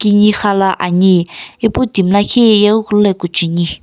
kini khala ani ipu timi lakhi ye yeghikulu lo ikucheni.